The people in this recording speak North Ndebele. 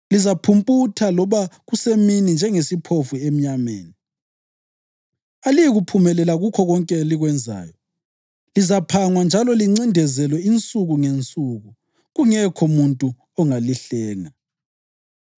Lizaphumputha loba kusemini njengesiphofu emnyameni. Aliyikuphumelela kukho konke elikwenzayo; lizaphangwa njalo lincindezelwe insuku ngensuku, kungekho muntu ongalihlenga.